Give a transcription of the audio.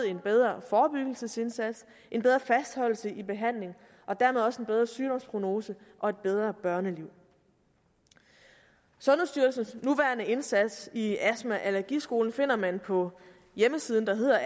en bedre forebyggelsesindsats en bedre fastholdelse i behandlingen og dermed også en bedre sygdomsprognose og et bedre børneliv sundhedsstyrelsens nuværende indsats i astma allergi i skolen finder man på hjemmesiden der hedder